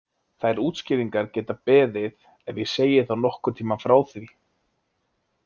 Þær útskýringar geta beðið ef ég segi þá nokkurn tíma frá því.